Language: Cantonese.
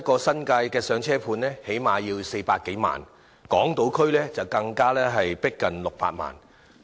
新界的"上車盤"最低限度要400多萬元一個，港島區的則更逼近600萬元。